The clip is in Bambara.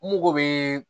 N mago bɛ